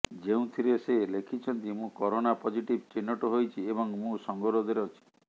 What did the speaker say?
ଯେଉଁଥିରେ ସେ ଲେଖିଛନ୍ତି ମୁଁ କରୋନା ପଜିଟିଭ ଚିହ୍ନଟ ହୋଇଛି ଏବଂ ମୁଁ ସଙ୍ଗରୋଧରେ ଅଛି